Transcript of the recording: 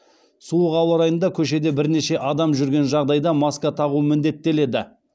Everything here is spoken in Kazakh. суық ауа райында көшеде бірнеше адам жүрген жағдайда маска тағу міндеттеледі